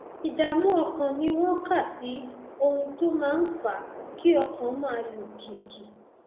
ìdààmú ọkàn ni wọn kà sí ohun tó máa ń fa kí ọkàn máa lù kìkì